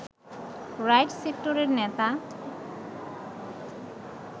right সেক্টরের নেতা